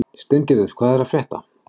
Steingerður, hvað er að frétta?